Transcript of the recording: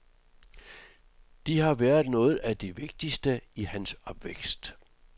De har været noget af det vigtigste i hans opvækst.